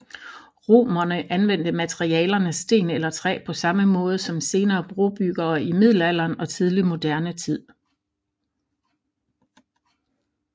Romerne anvendte materialerne sten eller træ på samme måde som senere brobyggere i Middelalderen og Tidlig moderne tid